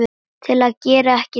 til að gera ekki neitt